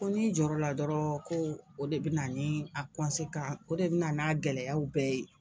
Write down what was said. Ko ni jɔyɔrɔ la dɔrɔn ko o de bɛ na ni a o de bɛna n'a gɛlɛyaw bɛɛ ye.